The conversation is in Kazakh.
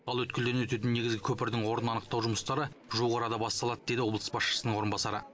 ал өткелден өтетін негізгі көпірдің орнын анықтау жұмыстары жуық арада басталады деді облыс басшысының орынбасары